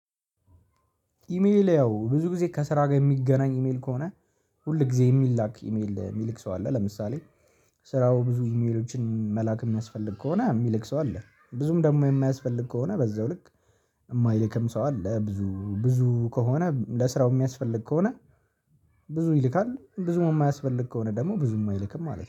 ኢሜል ያው ብዙ ጊዜ ከስራ ጋር የሚገናኝ ኢሜል ከሆነ ሁል ጊዜ የሚላክ ኢሜል የሚልክ ሰው አለ ለምሳሌ። ስራው ብዙ ኢሜሎችን መላክ የሚያስፈልግ ከሆነ የሚልክ ሰው አለ። ብዙም ደግሞ የማያስፈልግ ከሆነ በዛው ልክ የማይልክም ሰው አለ። ብዙ ብዙ ከሆነ ለስራው የሚያስፈልግ ከሆነ። ብዙ ይልካል ብዙም የማያስፈልግ ከሆነ ደግሞ ብዙም አይልክም ማለት ነው